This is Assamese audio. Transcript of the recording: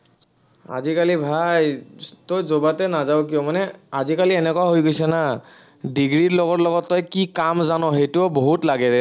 আজিকালি ভাই, তই যবাতে নাযাৱ কিয়, তই মানে আজিকালি এনেকুৱা হৈ গৈছে না degree ৰ লগত লগত তই কি কাম জান সেইটোও বহুত লাগে ৰে